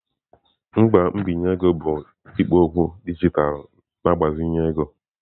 Ngwa mbinye ego bụ ikpo okwu dijitalụ na-agbazinye ego.